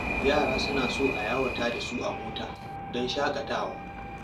Yara suna son a yawata da su a mota don shaƙatawa.